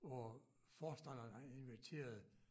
Hvor forstanderen han inviterede